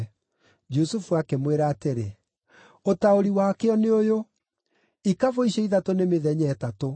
Jusufu akĩmwĩra atĩrĩ, “Ũtaũri wakĩo nĩ ũyũ: Ikabũ icio ithatũ nĩ mĩthenya ĩtatũ.